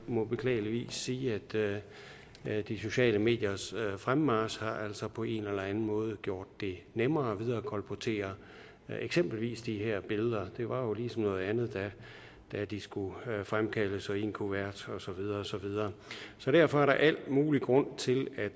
må beklageligvis sige at de sociale mediers fremmarch altså på en eller anden måde har gjort det nemmere at viderekolportere eksempelvis de her billeder det var jo ligesom noget andet da de skulle fremkaldes og i en kuvert og så videre og så videre derfor er der al mulig grund til at